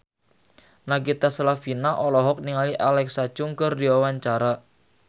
Nagita Slavina olohok ningali Alexa Chung keur diwawancara